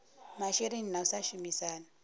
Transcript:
masheleni na u sa shumisana